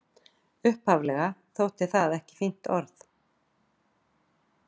Upphaflega þótti það ekki fínt orð.